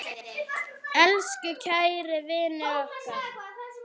Elsku kæri vinur okkar.